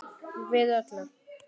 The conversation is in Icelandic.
Við öllu.